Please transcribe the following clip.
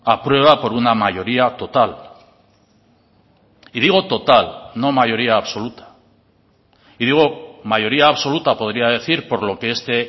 aprueba por una mayoría total y digo total no mayoría absoluta y digo mayoría absoluta podría decir por lo que este